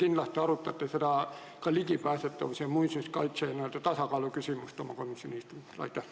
Te kindlasti arutate ka ligipääsetavuse ja muinsuskaitse n-ö tasakaalu küsimust oma komisjoni istungil.